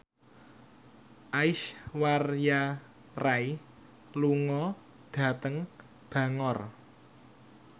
Aishwarya Rai lunga dhateng Bangor